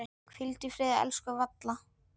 Hvíldu í friði, elsku Valla.